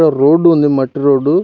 Road ఉంది మట్టి road .